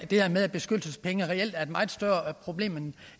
det her med beskyttelsespenge reelt er et meget større problem